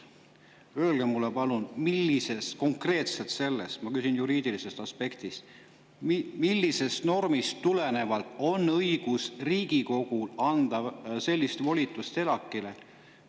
Öelge mulle palun – ma küsin juriidilisest aspektist –, millisest konkreetsest normist tulenevalt on Riigikogul õigus anda sellist volitust ELAK‑ile?